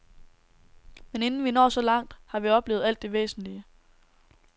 Men inden vi når så langt, har vi oplevet alt det væsentlige.